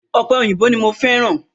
Ope òyìnbó ní mo fẹ́ràn